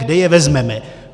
Kde je vezmeme?